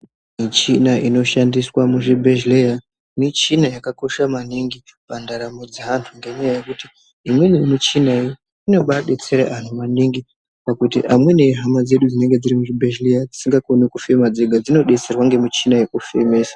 Michina inoshandise muzvibhedhleya michina yakakosha maningi pandaramo dzeantu. Ngenyaya yekuti imweni michina inobabetsera antu maningi, pakuti amweni ihama dzedu dzinenge dziri muzvibhedhlera dzisingakoni kufema dzega. Dzinobetserwa ngemichina yekufemesa.